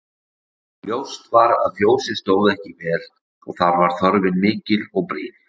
Ljóst var að fjósið stóð ekki vel og þar var þörfin mikil og brýn.